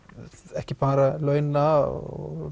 ekki bara launa og